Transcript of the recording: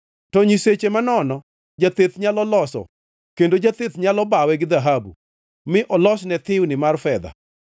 To nyiseche manono, jatheth nyalo loso kendo jatheth nyalo bawe gi dhahabu, mi olosne thiwni mar fedha.